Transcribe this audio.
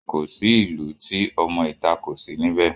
Kò sí ìlú tí ọmọ ìta kò sí níbẹ̀